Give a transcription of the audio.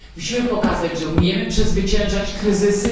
Musimy pokazać, że umiemy przezwyciężać kryzysy.